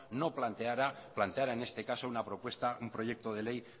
no planteara en este caso un proyecto de ley